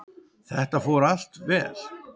Þetta fór allt vel.